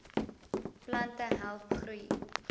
plante help groei